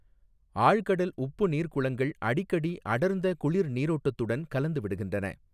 ஆழ்கடல் உப்பு நீா்குளங்கள் அடிக்கடி அடா்ந்த குளிா் நீரோட்டத்துடன் கலந்துவிடுகின்றன.